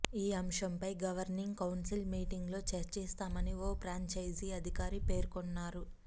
ఈ అంశంపై governing council మీటింగ్లో చర్చిస్తామని ఓ ఫ్రాంచైజీ అధికారి పేర్కొన్నారు